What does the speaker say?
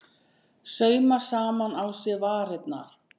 Sauma saman á sér varirnar